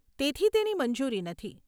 તેથી તેની મંજૂરી નથી.